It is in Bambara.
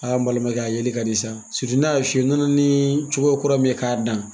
Aa n balimankɛ a yeli ka di sa! ne y'a f'i ye , u nana ni cogoya kura min ye k'a dan